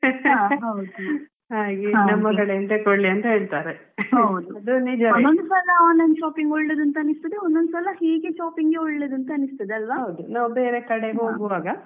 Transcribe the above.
ನಮ್ಮ ಕಡೆ ತಕೊಳ್ಳಿ ಅಂತ ಹೇಳ್ತಾರೆ ಅದು ನಿಜವೇ,